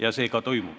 Ja see ka toimub.